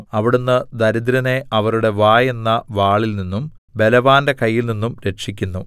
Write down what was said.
അവിടുന്ന് ദരിദ്രനെ അവരുടെ വായെന്ന വാളിൽനിന്നും ബലവാന്റെ കയ്യിൽനിന്നും രക്ഷിക്കുന്നു